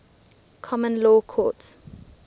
common law courts